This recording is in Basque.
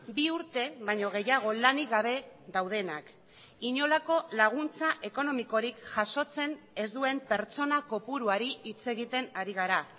bi urte baino gehiago lanik gabe daudenak inolako laguntza ekonomikorik jasotzen ez duen pertsona kopuruari hitz egiten ari gara